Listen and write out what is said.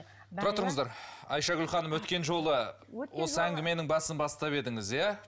тұра тұрыңыздар айшагүл ханым өткен жолы осы әңгіменің басын бастап едіңіз иә